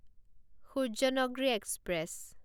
Suryanagri express